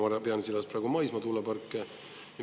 Ma pean silmas praegu maismaa tuuleparke.